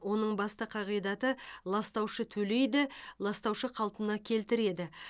оның басты қағидаты ластаушы төлейді ластаушы қалпына келтіреді